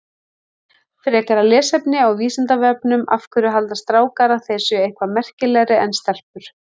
Frekara lesefni á Vísindavefnum Af hverju halda strákar að þeir séu eitthvað merkilegri en stelpur?